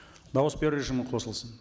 дауыс беру режимі қосылсын